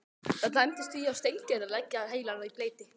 Það dæmdist því á Steingerði að leggja heilann í bleyti.